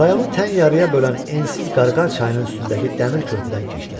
Rayonu tən yarıya bölən ensiz Qarqar çayının üstündəki dəmir körpüdən keçdilər.